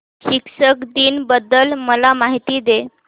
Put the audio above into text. शिक्षक दिन बद्दल मला माहिती दे